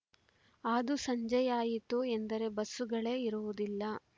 ಅದೂ ಸಂಜೆಯಾಯಿತು ಎಂದರೆ ಬಸ್ಸುಗಳೇ ಇರುವುದಿಲ್ಲ